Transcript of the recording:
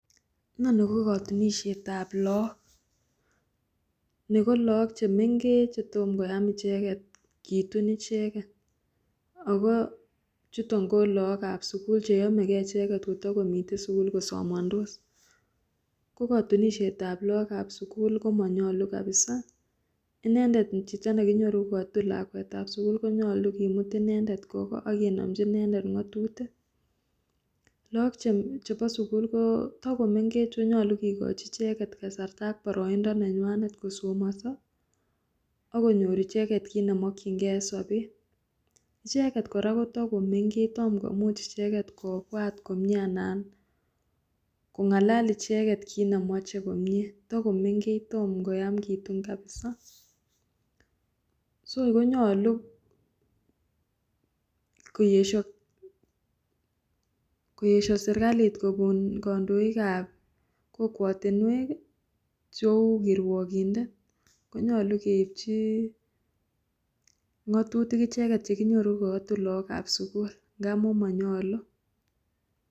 Inoni ko kotunisietab look Nebo look chemeng'ech chetomo koyam icheket kitun icheket ak ko chuton ko lookab sukul cheyomekee icheket kotokomiten icheket sukul kotokosomondos, ko kotunisietab lookab sukul komonyolu kabisaa, inendet chito nekinyoru kokatun lakwetab sukul konyolu kimut inendet kwoo koo ak kenomnji icheket ng'otutik, look chebo sukul kotokomengech akonyolu kikochi icheket kasarta ak boroindo nenywanet kosomoso ak konyor icheket kiit nemokying'e en sobet, icheket kora kotokomeng'ech tom komuch icheket kobwat komie anan kong'alal icheket kiit nemoche komnye, tokomeng'ech tom koyam kitun kabisaa, so konyolu koyesho serikalit kokon kondoikab kokwotinwek cheu kirwokindet konyolu keibchi ng'otutik icheket chekinyoru kokotun lookab sukul ng'amun monyolu.